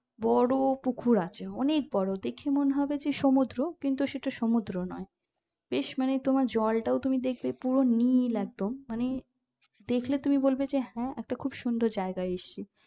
বোরো পুকুর আছে অনেক বোরো দেখে মনে হবে সমুদ্র কিন্তু ওটা সমুদ্র না বেশ মানে তোমার জলটাও তুমি দেখবে পুরো নীল একদম মানে দেখলে তুমি বলবে যে হ্যাঁ খুব সুন্দর একটা জায়গায় এসছি